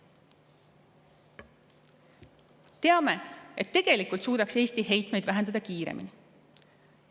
Teame, et tegelikult suudaks Eesti heitmeid vähendada kiiremini.